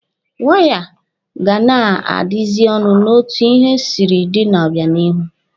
Waya ga na-adazi ọnụ n'otu ihe siri dịrị n'obịanihu.